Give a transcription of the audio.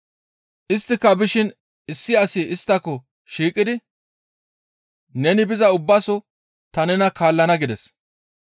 Isttika bishin issi asi isttako shiiqidi, «Neni biza ubbaso ta nena kaallana» gides.